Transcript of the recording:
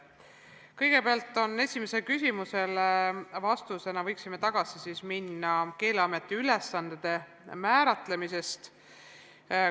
Kõigepealt, vastuseks esimesele küsimusele, võiksime minna tagasi Keeleameti ülesande määratlemise juurde.